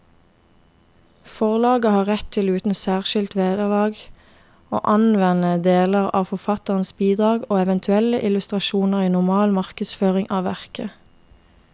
Forlaget har rett til uten særskilt vederlag å anvende deler av forfatterens bidrag og eventuelle illustrasjoner i normal markedsføring av verket.